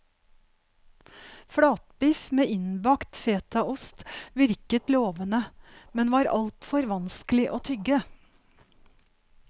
Flatbiff med innbakt fetaost virket lovende, men var altfor vanskelig å tygge.